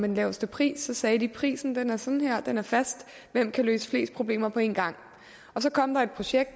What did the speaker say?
den laveste pris sagde de prisen er sådan her den er fast hvem kan løse flest problemer på én gang så kom der et projekt